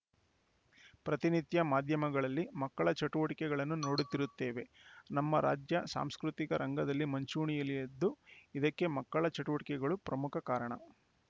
ಪ್ರತಿನಿತ್ಯ ಮಾಧ್ಯಮಗಳಲ್ಲಿ ಮಕ್ಕಳ ಚಟುವಟಿಕೆಗಳನ್ನು ನೋಡುತ್ತಿರುತ್ತೇವೆ ನಮ್ಮ ರಾಜ್ಯ ಸಾಂಸ್ಕೃತಿಕ ರಂಗದಲ್ಲಿ ಮುಂಚೂಣಿಯಲಿದ್ದು ಇದಕ್ಕೆ ಮಕ್ಕಳ ಚಟುವಟಿಕೆಗಳು ಪ್ರಮುಖ ಕಾರಣ